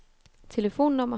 telefonnummer